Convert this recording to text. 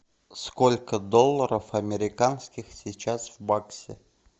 сколько долларов американских сейчас в баксе